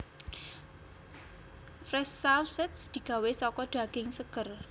Fresh Sausage digawé saka daging seger